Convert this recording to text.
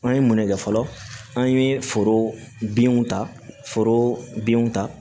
An ye mun ne kɛ fɔlɔ an ye foro binw ta foro binw ta